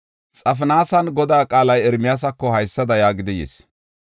Xafinaasan Godaa qaalay Ermiyaasako haysada yaagidi yis.